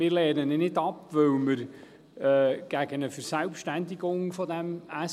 Wir lehnen ihn nicht ab, weil wir gegen eine Verselbstständigung des SVSA sind;